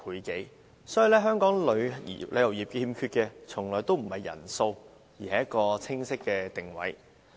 由此可見，香港旅遊業欠缺的從來不是人數，而是一個清晰的定位。